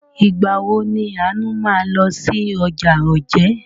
Ìgbà wo ni Àánú máa lọ sí ọjà Ojé?